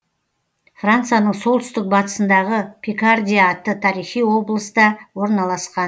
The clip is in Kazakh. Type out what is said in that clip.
францияның солтүстік батысындағы пикардия атты тарихи облыста орналасқан